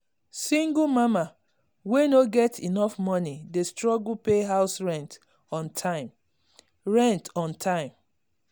single mama wey no get enough money dey struggle pay house rent on time. rent on time.